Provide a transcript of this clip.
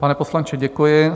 Pane poslanče, děkuji.